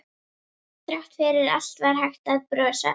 Þrátt fyrir allt var hægt að brosa.